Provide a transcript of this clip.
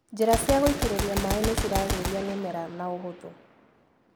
Njĩra cia gũitĩrĩria maĩ nĩciragĩria mĩmera na ũhũthũ.